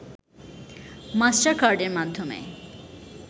মাস্টারকার্ডের মাধ্যমে